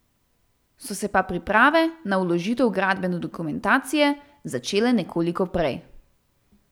So se pa priprave na vložitev gradbene dokumentacije začele nekoliko prej.